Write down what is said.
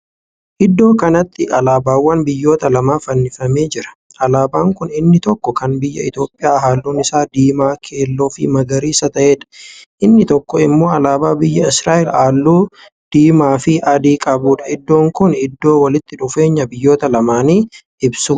Iddoo kanatti alaabaawwan biyyoota lamaa fannifamee jira. alaabaan Kuni inni tokko Kan biyya Itoophiyaa halluun Isaa diimaa, keelloofi magariisa ta'eedha. inni tokko immoo alaabaa biyya Israa'el halluu diimaafi adii qabuudha. iddoon Kuni iddoo walitti dhufeenya biyyoota lamaanii ibsuudha.